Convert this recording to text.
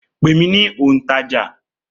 Pè mí ní òǹtajà